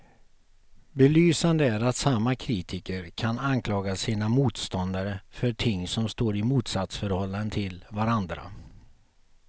Belysande är att samma kritiker kan anklaga sina motståndare för ting som står i ett motsatsförhållande till varandra.